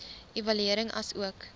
evaluering asook